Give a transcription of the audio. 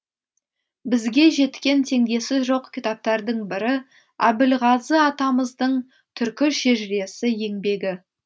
бізге жеткен теңдесі жоқ кітаптардың бірі әбілғазы атамыздың түркі шежіресі еңбегі